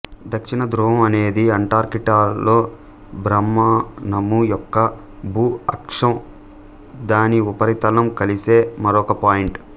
దక్షిణ ధృవం అనేది అంటార్కిటికాలో భ్రమణము యొక్క భూ అక్షం దాని ఉపరితలం కలిసే మరొక పాయింట్